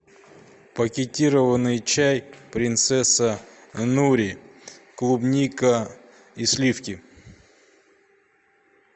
пакетированный чай принцесса нури клубника и сливки